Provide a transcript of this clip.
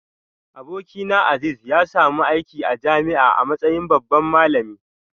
Abokina Azeez ya samu aiki a jami'a a matsayin babban malami